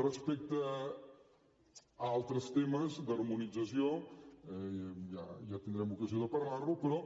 respecte a altres temes d’harmonització ja tindrem ocasió de parlar ho però